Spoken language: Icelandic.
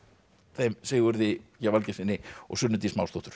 þeim Sigurði g Valgeirssyni og Sunnu Dís